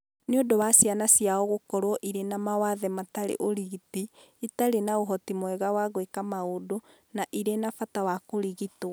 Nĩ ũndũ wa ciana ciao gũkorũo irĩ na mawathe matarĩ ũgitĩri, itarĩ na ũhoti mwega wa gwĩka maũndũ, na irĩ na bata wa kũrigitwo.